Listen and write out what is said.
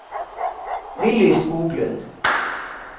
Willy Skoglund